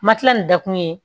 Matila ni da kun ye